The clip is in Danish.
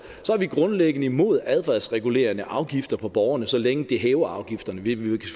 vi grundlæggende imod adfærdsregulerende afgifter på borgerne så længe det hæver afgifterne vi vil jo